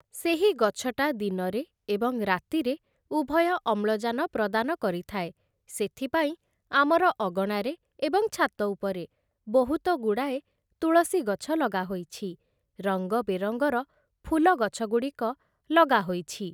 ସେହି ଗଛଟା ଦିନରେ ଏବଂ ରାତିରେ ଉଭୟ ଅମ୍ଳଜାନ ପ୍ରଦାନ କରିଥାଏ ସେଥିପାଇଁ ଆମର ଅଗଣାରେ ଏବଂ ଛାତ ଉପରେ ବହୁତ ଗୁଡ଼ାଏ ତୁଳସୀ ଗଛ ଲଗାହୋଇଛି ରଙ୍ଗ ବେରଙ୍ଗର ଫୁଲ ଗଛଗୁଡ଼ିକ ଲଗାହୋଇଛି ।